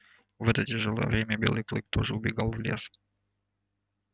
в это тяжёлое время белый клык тоже убегал в лес